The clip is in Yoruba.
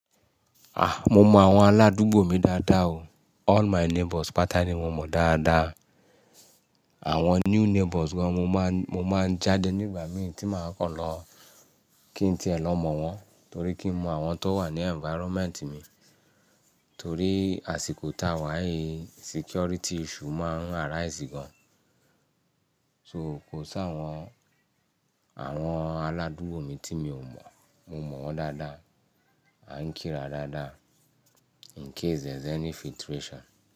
Ah! Mo mọ àwọn aládúgbò mi dáadáa o. All my neighbors pátá ni mo mọ dáadáa. Àwọn new neighbors gan mo máa, mo máa jáde nígbà mìíràn tí màá kọ̀ lọ kí n tí è lọ mọ̀ wọ́n torí kí n mọ àwọn tó wà ní environment mi. Torí àsìkò tà wá yìí security issue máa arise gan. So kò sí àwọn, àwọn aládúgbò mi tí mi ò mọ̀, mo mọ̀ wọ́n dáadáa, à ń kí ra dáadáa in case there is any filtration.